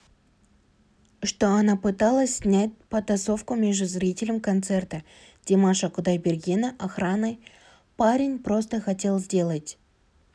что она пыталась снять потасовку между зрителем концерта димаша кудайбергена охраной парень просто хотел сделать